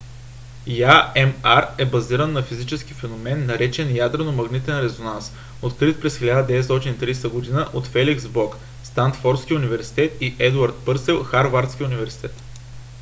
ямр е базиран на физичен феномен наречен ядрено-магнитен резонанс открит през 1930 г. от феликс блок станфордски университет и едуард пърсел харвардски университет